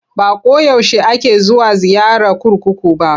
Ba ko yaushe ake zuwa ziyara kurkuku ba.